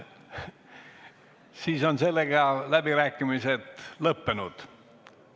Siis on sellega läbirääkimised lõppenud.